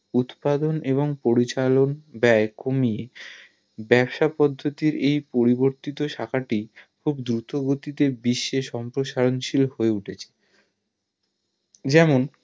উৎপাদন এবং পরিচালন বয়ে কমিয়ে ব্যবসা পদ্ধতির এই পরিবর্তিত শাখা টি খুব দ্রুত গতি তে বিশ্বে সম্প্রসারণ শীল হয় উঠেছে যেমন